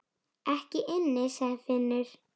Ekki inni, sagði Finnur.